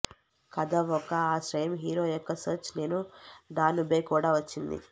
కథ ఒక ఆశ్రయం హీరో యొక్క సెర్చ్ నేను డానుబే కూడా వచ్చింది